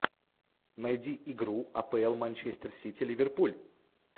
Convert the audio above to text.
найди игру апл манчестер сити ливерпуль